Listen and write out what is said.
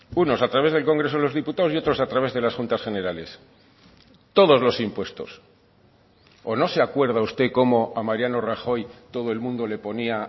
unos a través del congreso de los diputados y otros a través de las juntas generales todos los impuestos o no se acuerda usted cómo a mariano rajoy todo el mundo le ponía